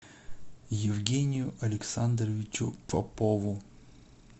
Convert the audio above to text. евгению александровичу попову